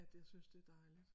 At jeg synes det er dejligt